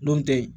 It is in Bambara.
N'o tɛ yen